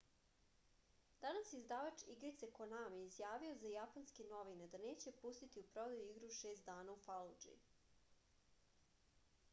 danas je izdavač igrice konami izjavio za japanske novine da neće pustiti u prodaju igru šest dana u faludži